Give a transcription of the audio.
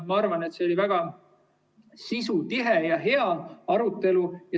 Ma arvan, et see oli väga sisutihe ja hea arutelu.